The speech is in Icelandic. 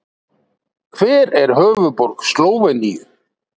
Hver er höfuðborg Slóveníu?